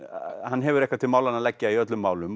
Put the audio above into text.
hann hefur eitthvað til málanna að leggja í öllum málum